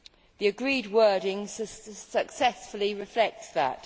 The agreed wording successfully reflects that.